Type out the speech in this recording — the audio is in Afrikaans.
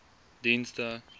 dienste